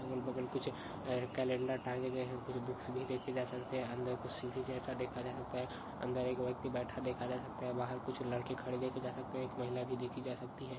अगल-बगल कुछ कॅलेंडर टांगे गए है कुछ बुक्स भी देखे जा सकते है अंदर कुछ सिड़ी जैसा देखा जा सकता है अंदर एक व्यक्ति बैठा देखा जा सकता है बाहर कुछ लड़के खड़े देखे जा सकते है एक महिला भी देखि जा सकती है।